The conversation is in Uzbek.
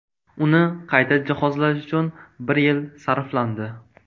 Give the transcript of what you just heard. Uni qayta jihozlash uchun bir yil sarflandi.